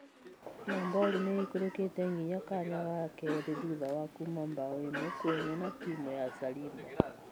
Nabori nĩ ĩikũrũkĩte nginya kanya ga keerĩ thutha wa kuuma mbaũ ĩmwe kwa ĩmwe na timu ya Sariba.